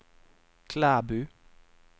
Klæbu